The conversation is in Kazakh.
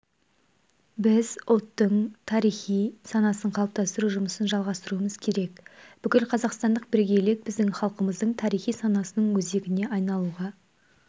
біз ұлттың тарихи санасын қалыптастыру жұмысын жалғастыруымыз керек бүкілқазақстандық бірегейлік біздің халқымыздың тарихи санасының өзегіне айналуға